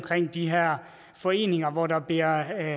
de her foreninger hvor der bliver